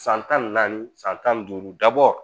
San tan ni naani san tan ni duuru dabɔ